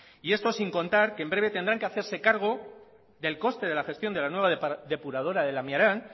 y esto sin contar que en breve tendrán que hacerse cargo del coste de la gestión de la nueva depuradora de lamiaran